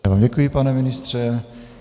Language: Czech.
Já vám děkuji, pane ministře.